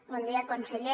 bon dia conseller